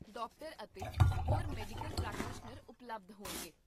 doctor ਅਤੇ ਹੋਰ medical practitioner ਉਪਲਬਧ ਹੋਣਗੇ